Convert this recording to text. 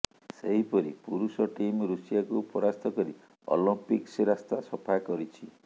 ସେହିପରି ପୁରୁଷ ଟିମ୍ ଋଷିଆକୁ ପରାସ୍ତ କରି ଅଲମ୍ପିକ୍ସ ରାସ୍ତା ସଫା କରିଛି